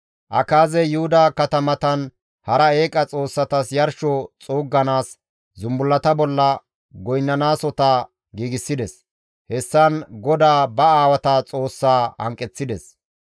Akaazey Yuhuda katamatan hara eeqa xoossatas yarsho xuugganaas zumbullata bolla goynnizasota giigsides; hessan GODAA ba aawata Xoossaa hanqeththides.